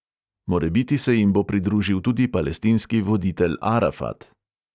Morebiti se jim bo pridružil tudi palestinski voditelj arafat.